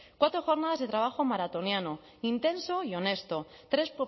cuatro jornadas de trabajo maratoniano intenso y honesto tres